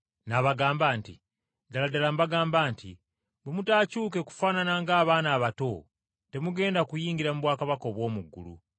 N’abagamba nti, “Ddala ddala mbagamba nti bwe mutakyuke kufaanana ng’abaana abato temugenda kuyingira mu bwakabaka obw’omu ggulu.